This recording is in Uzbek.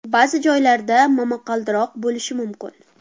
Ba’zi joylarda momaqaldiroq bo‘lishi mumkin.